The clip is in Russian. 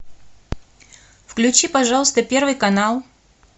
включи пожалуйста первый канал